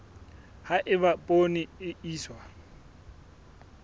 ha eba poone e iswa